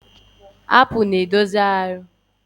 Bimbimapu na edozi ahụ ma na enyere mgbaze nri na abụba ọkụ.